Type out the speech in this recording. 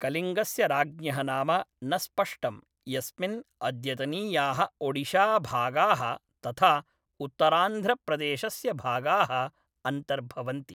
कलिङ्गस्य राज्ञः नाम न स्पष्टम्, यस्मिन् अद्यतनीयाः ओडिशाभागाः तथा उत्तरान्ध्रप्रदेशस्य भागाः अन्तर्भवन्ति।